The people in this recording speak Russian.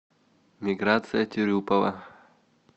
миграция тюрюпова